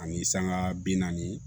Ani sanŋa bi naani